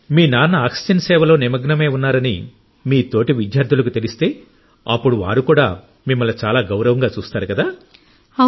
మీ నాన్న ఆక్సిజన్ సేవలో నిమగ్నమై ఉన్నారని మీ తోటి విద్యార్థులకు తెలిస్తే అప్పుడు వారు కూడా మిమ్మల్ని చాలా గౌరవంగా చూస్తారు కదా